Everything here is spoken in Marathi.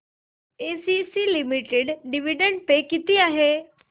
एसीसी लिमिटेड डिविडंड पे किती आहे